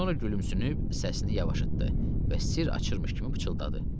Sonra gülümsünüb səsini yavaşıtdı və sirr açırmış kimi pıçıltıdı.